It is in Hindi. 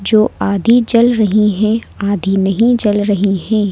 जो आधी जल रही हैं आधी नहीं जल रही हैं।